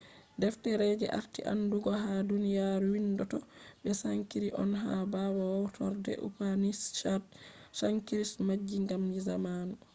deftere je arti aandugu ha duniyaru windotto be sanskrit on. ha ɓawo hawtorde upanishads sanskrit majji ngam zamanu